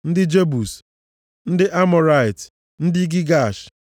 ndị Jebus, ndị Amọrait, ndị Gigash,